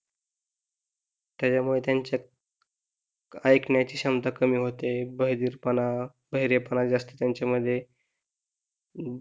त्याच्यामुळे त्यांच्या ऐकण्याची क्षमता कमी होते बधिरपणा, बहिरेपणा जास्ती त्यांच्यामध्ये अं